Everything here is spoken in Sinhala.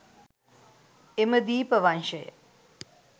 එම දීපවංශය